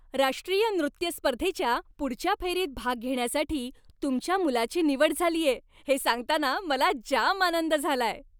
राष्ट्रीय नृत्य स्पर्धेच्या पुढच्या फेरीत भाग घेण्यासाठी तुमच्या मुलाची निवड झालीये हे सांगताना मला जाम आनंद झालाय.